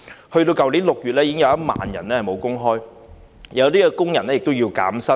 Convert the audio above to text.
去年6月已經有1萬人沒有工作，部分工人亦要減薪。